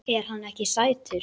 Er hann ekki sætur?